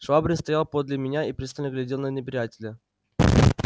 швабрин стоял подле меня и пристально глядел на неприятеля